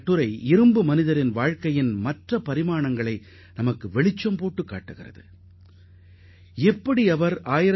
இந்தியாவின் இரும்பு மனிதரை பற்றிய வாழ்க்கை வரலாற்றின் மறுபக்கத்தையும் அந்த கட்டுரை எடுத்துரைப்பதாக இருந்தது